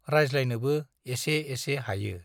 रायज्लायनोबो एसे एसे हायो।